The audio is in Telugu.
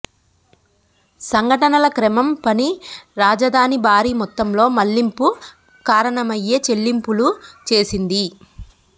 సంఘటనల క్రమం పని రాజధాని భారీ మొత్తంలో మళ్లింపు కారణమయ్యే చెల్లింపులు చేసింది